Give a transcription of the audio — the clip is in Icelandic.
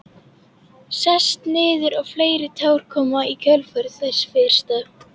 Sest niður og fleiri tár koma í kjölfar þess fyrsta.